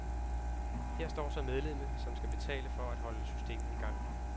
Her står så medlemmet, som skal betale for at holde systemet i gang.